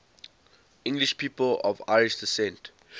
english people of irish descent